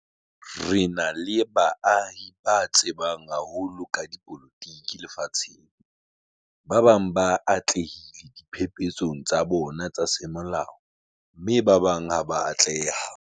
Re na le baahi ba tsebang haholo ka dipolotiki lefatsheng. Ba bang ba atlehile diphephetsong tsa bona tsa semolao mme ba bang ha ba a atleha.